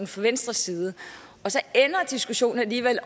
fra venstres side og så ender diskussionen alligevel